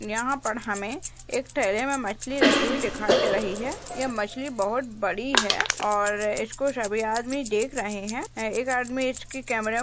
यहाँ पर हमे एक ठेले में मछली रखी हुई दिखाई दे रही है यह मछली बहोत बड़ी है और इसको सभी आदमी देख रहे है एक आदमी इसकी केमरे में --